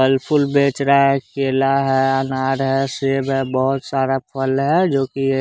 फल-फूल बेच रहा है केला है अनार है सेब है बहुत सारा फल है जो कि ये --